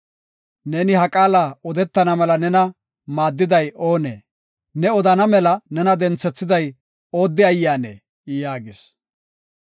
Neeni ha qaala odetana mela nena maaddiday oonee? Ne odan mela nena denthethiday oodde ayyaanee?” yaagis.